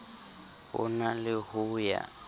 ho na le ho ya